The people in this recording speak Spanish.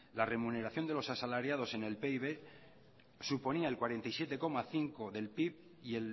la remuneración de los asalariados en el pib suponía el cuarenta y siete coma cinco del pib y